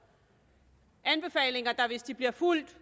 anbefalinger der hvis de bliver fulgt